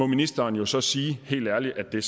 ministeren må så sige helt ærligt at det